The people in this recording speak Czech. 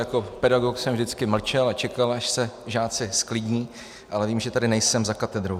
Jako pedagog jsem vždycky mlčel a čekal, až se žáci zklidní, ale vím, že tady nejsem za katedrou.